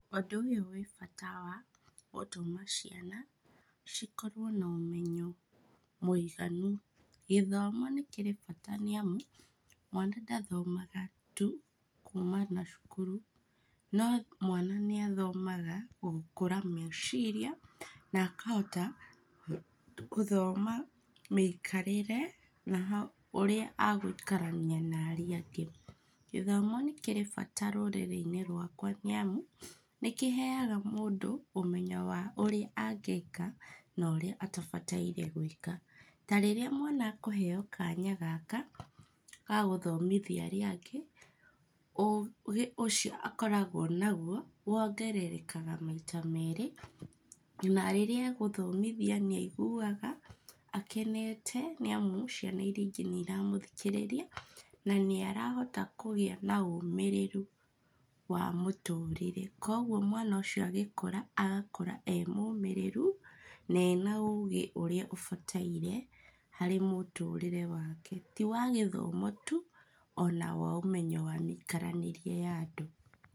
Ũndũ ũyũ wĩ bata wa gũtũma ciana, cikorwo na ũmenyo mũiganu, gĩthomo nĩ kĩrĩ bata niamu, mwana ndathomaga tu kuma na cukuru, no mwana nĩathomaga gũkũra meciria, na akahota, gũthoma mĩikarĩre, na ha ũrĩa agũikarania na arĩa angĩ. Gĩthomo nĩkĩrĩ bata rũrĩrĩinĩ rwakwa niamu nĩkĩheaga mũndũ ũmenyo wa ũrĩa angĩka, na ũrĩa atabataire gwĩka. Tarĩrĩa mwana akũheo kanya gaka ga gũthomithia arĩa angĩ, ũgĩ ũcio akoragwo naguo, wongererekaga maita merĩ, na rĩrĩa agũthomithia nĩaiguga akenete, nĩamu ciana iria ingĩ nĩ iramũthikĩrĩria, na nĩarahota kũgĩa na ũmĩrĩru wa mũtũrĩre, koguo mwana ũcio agĩkũra, agakũra e mũmĩrĩru, na ena ũgĩ ũrĩa ũbataire, harĩ mũtũrĩre wake. Ti wagĩthomo tu, ona wa ũmenyo wa mĩikaranĩrie ya andũ.